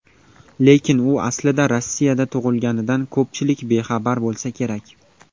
Lekin u aslida Rossiyada tug‘ilganidan ko‘pchilik bexabar bo‘lsa kerak.